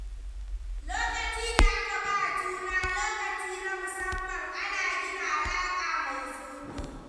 Lokacin da aka ba juna lokaci na musamman, ana gina alaka mai zurfi.